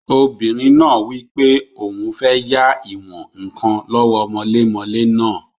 Obìnrin náà wí pé òun fẹ́ yá ìwọ̀n-ǹkan lọ́wọ́ mọlémọlẹ́ náà